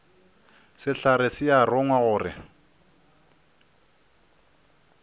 sehlare se a rongwa gore